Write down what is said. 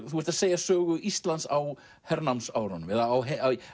þú ert að segja sögu Íslands á hernámsárunum eða á